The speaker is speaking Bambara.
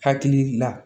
Hakili la